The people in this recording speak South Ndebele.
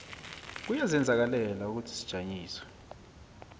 kuyazenzakalela ukuthi kujanyiswe